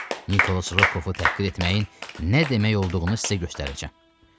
Nikolas Rokovu təhqir etməyin nə demək olduğunu sizə göstərəcəm.